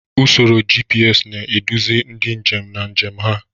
Usoro GPS na-eduzi ndị njem na njem ha.